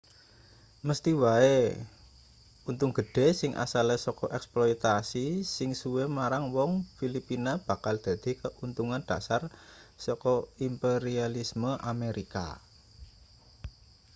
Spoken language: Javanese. mesthi wae untung gedhe sing asale saka eksploitase sing suwe marang wong filipina bakal dadi keuntungan dhasar saka imperialisme amerika